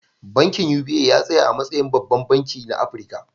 Bankin UBA ya tsaya a matsayin babban banki na Afirka.